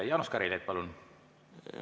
Jaanus Karilaid, palun!